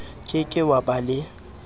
ke ke wa ba le